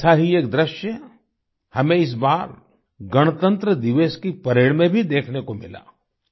ऐसा ही एक दृश्य हमें इस बार गणतंत्र दिवस की परेड में भी देखने को मिला